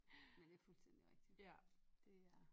Men det fuldstændig rigtigt det er